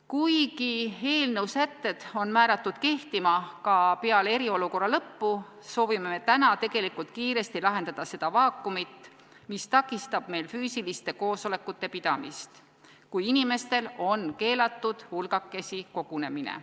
Kuigi eelnõu sätted on määratud kehtima ka peale eriolukorra lõppu, soovime me täna tegelikult kiiresti lahendada seda vaakumit, mis takistab meil füüsiliste koosolekute pidamist, kui inimestel on keelatud hulgakesi koguneda.